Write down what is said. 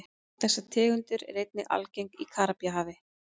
Þessi tegund er einnig algeng í Karíbahafi.